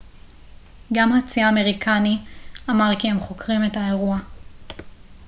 גם הצי האמריקני אמר כי הם חוקרים את האירוע